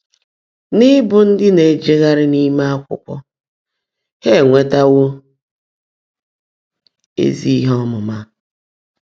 N’ị́bụ́ ndị́ ná-èjeghárị́ n’íme ákwụ́kwọ́, há énweétewó ézí íhe ọ́mụ́má.